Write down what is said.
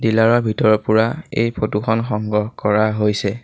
Dealer ৰ ভিতৰৰ পৰা এই ফটো খন সংগ্ৰহ কৰা হৈছে।